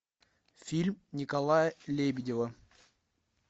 фильм николая лебедева